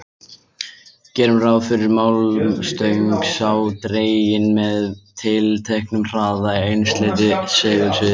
Gerum ráð fyrir að málmstöng sé dregin með tilteknum hraða í einsleitu segulsviði.